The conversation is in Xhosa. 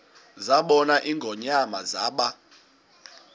zabona ingonyama zaba